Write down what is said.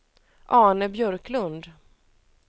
Arne Björklund